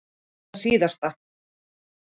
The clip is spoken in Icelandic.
Og það síðasta.